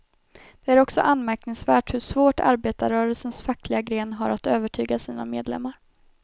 Det är också anmärkningsvärt hur svårt arbetarrörelsens fackliga gren har att övertyga sina medlemmar.